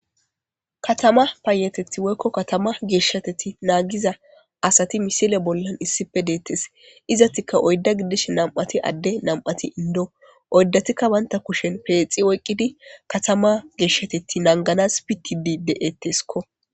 katama payateti woykko katama geeshshateti naagiza asati misile bollan issife deettes izatika oydda giddish nam7ati adde nam7ati indo oyddatikka waynta kushen peexi oyqqidi katama geeshshateti nanganas pitidi de7etteskko